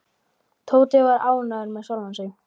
Tóti var ánægður með sjálfan sig.